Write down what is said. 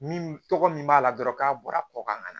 Min tɔgɔ min b'a la dɔrɔn k'a bɔra kɔ kan ka na